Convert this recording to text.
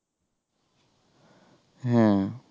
হ্যাঁ